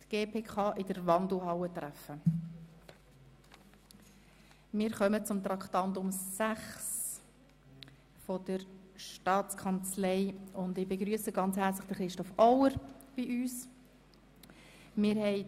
Wir haben zudem soeben die Mitteilung erhalten, dass das Traktandum 20, M 040-2017 mit einer Erklärung zurückgezogen wird.